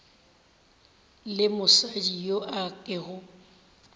le mosadi yo a kego